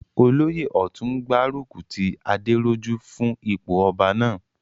Olóyè ọ̀tún n gbárùkù ti Adérójú fún ipò ọba náà